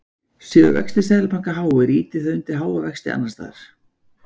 Séu vextir Seðlabanka háir ýtir það undir háa vexti annars staðar.